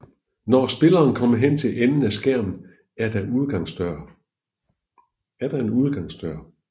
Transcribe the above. Når spilleren kommer hen til enden af skærmen er der en udgangs dør